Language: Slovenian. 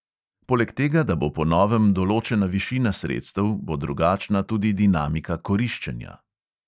Poleg tega, da bo po novem določena višina sredstev, bo drugačna tudi dinamika koriščenja.